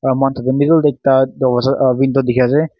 moikhan tu middle teh ekta dowaja a window dikhi ase.